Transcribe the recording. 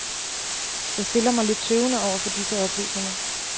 Jeg stiller mig lidt tøvende over for disse oplysninger.